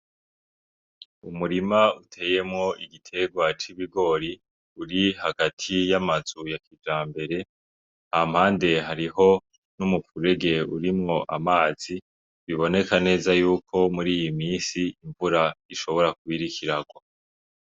Umurima uteyemwo igiterwa c’ibigori uri hagati y’amazu ya kijambere ,hampande hariho n’umuferege urimwo amazi biboneka neza yuko muriyi misi imvura ishobora kuba iriko iragwa.